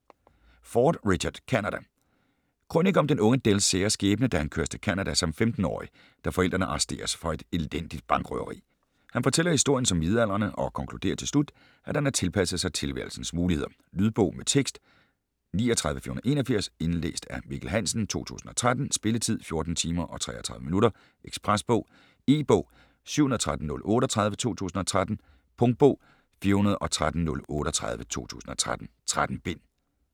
Ford, Richard: Canada Krønike om den unge Dells sære skæbne, da han køres til Canada som 15-årig, da forældrene arresteres for et elendigt bankrøveri. Han fortæller historien som midaldrende, og konkluderer til slut, at han har tilpasset sig tilværelsens muligheder. Lydbog med tekst 39481 Indlæst af Mikkel Hansen, 2013. Spilletid: 14 timer, 33 minutter. Ekspresbog E-bog 713038 2013. Punktbog 413038 2013. 13 bind.